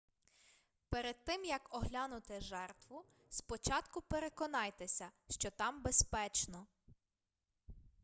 перед тим як оглянути жертву спочатку переконайтеся що там безпечно